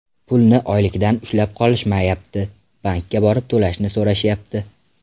Pulni oylikdan ushlab qolishmayapti, bankka borib to‘lashni so‘rashyapti”.